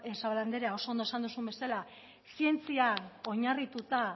zabala andrea oso ondo esan duzun bezala zientzian oinarrituta